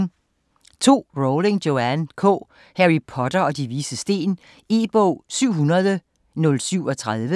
Rowling, Joanne K.: Harry Potter og De Vises Sten E-bog 700037